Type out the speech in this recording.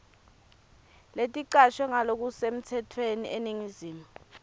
leticashwe ngalokusemtsetfweni eningizimu